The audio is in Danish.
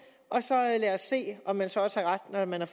og lad os se om man så også har ret når man har